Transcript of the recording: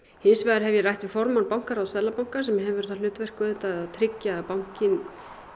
hins vegar hef ég rætt við formann bankaráðs Seðlabankans sem hefur það hlutverk auðvitað að tryggja að bankinn